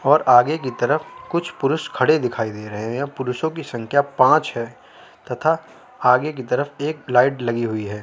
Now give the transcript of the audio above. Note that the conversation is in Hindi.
और आगे की तरफ कुछ पुरुष खड़े दिखाई दे रहे हैं पुरुषों की संख्या पांच है तथा आगे की तरफ एक लाइट लगी हुई है।